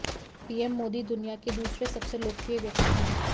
PM Modi दुनिया के दूसरे सबसे लोकप्रिय व्यक्ति हैं